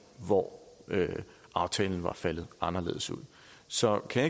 hvor aftalen var faldet anderledes ud så kan